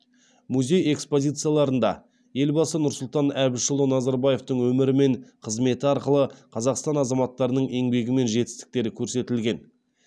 музей экспозицияларында елбасы нұрсұлтан әбішұлы назарбаевтың өмірі мен қызметі арқылы қазақстан азаматтарының еңбегі мен жетістіктері көрсетілген